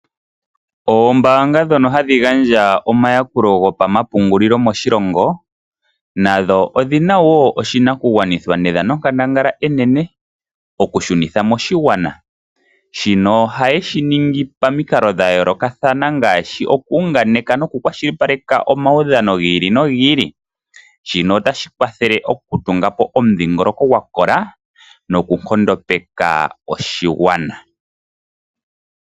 Ombaanga ndhoka hadhi gaandja omayakulo gopamapungulilo moshigwana nadho odhi na wo oshinakugwanithwa nedhanonkandangala enene okushunintha moshigwana, shika ohaye shiningi pamikalo dhayoolokathana ngaashi okuunganeka nokukwashilipaleka omaudhano gi ili nogili, shika otashi kwathele okutunga po omudhingoloko gwakola noku nkondopeka oshigwana.